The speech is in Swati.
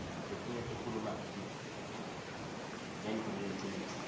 letinye tikhuluma ngentfo leliciniso